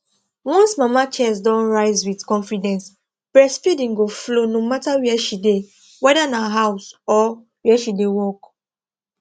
once mama chest don rise with confidence breastfeeding go flow no matter where she dey whether na house or where she de work